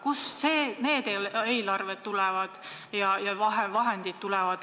Kust need vahendid tulevad?